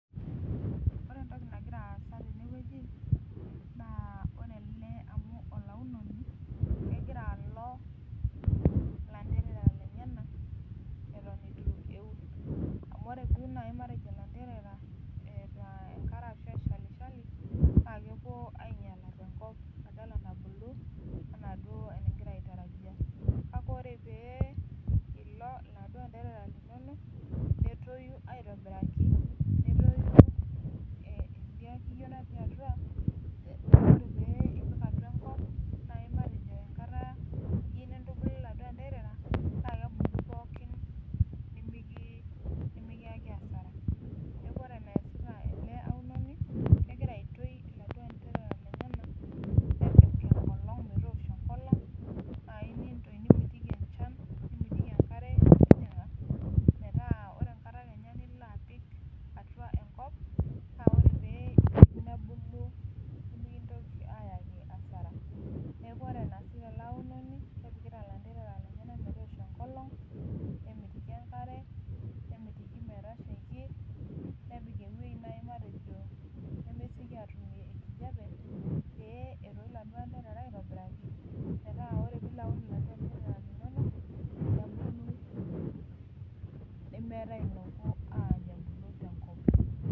Ore entoki nagira aasa tenewueji naa ore ele amu olaunoni kegira alo ilanterera lenyena eton etu eun amu ore duo naaji matejo ilanterera eeta enkare ashu eshalishali naa kepuo ainyiala tenkop badala nabulu anaa duo enegira aitarajia kake ore pee ilo iladuo anterera linono netoyu aitobiraki netoyu eh idia kiyio natii atua eh ore pee ipik atua enkop naaji matejo enkata niu nintubulu iladuo anterera naa kebulu pookin nemiki nemikiyaki asara neku ore eneyasita ele aunoni kegira aitoi iladuo anterera lenyenak nepik enkolong metoosho enkolong naaji nintoi nimitiki enchan nimitiki enkare metijing'a metaa ore enkata kenya nilo apik atua enkop naa ore pee ipik nebulu nimikintoki ayaki asara neku ore enaasita ele aunoni kepikita ilanterera lenyena metoosho enkolong nemitiki enkare nemitiki metashaiki nepik ewuei naaji matejo nemesieki atumie enkijiape pee etoi iladuo anterera aitobiraki metaa ore piilo aun iladuo anterera linonok nebulu nemeetae ilopuo aany ebulu tenkop.